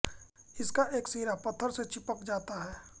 इसका एक सिरा पत्थर से चिपक जाता है